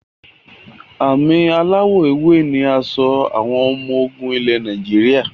Àmì aláwọ èwe ni aṣọ àwọn ọmọ ogun ilẹ̀ Nàìjíríà